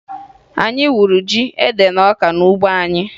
Anyị wuru ji, ede, na ọka n'ugbo anyị